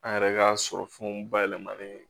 An yɛrɛ ka sɔrɔ fɛnw bayɛlɛmalen